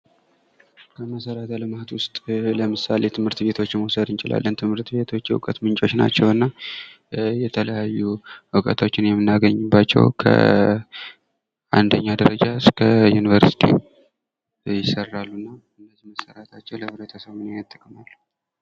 ከመሠረተ ልማት ውስጥ ለምሳሌ ትምህርት ቤቶችን መውሰድ እንችላለን። ትምህርት ቤቶች የእውቀት ምንጮች ናቸው እና የተለያዩ እውቀቶችን የምናገኝበት ከአንደኛ ደረጃ እስከ ዩንቨርስቲ ይሰራሉ እና መሠራታቸው ለህብረተሰቡ ምን ያህል ጥቅም አለው?